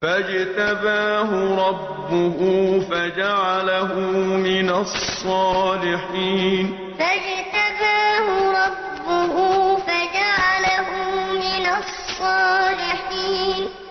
فَاجْتَبَاهُ رَبُّهُ فَجَعَلَهُ مِنَ الصَّالِحِينَ فَاجْتَبَاهُ رَبُّهُ فَجَعَلَهُ مِنَ الصَّالِحِينَ